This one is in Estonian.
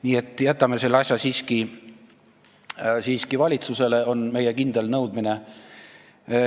Nii et jätame selle asja siiski valitsusele – see on meie kindel nõudmine.